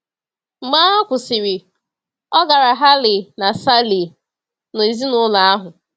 Mgbe agha kwụsịrị, ọ gara Halle na Saale na ezinụlọ ahụ.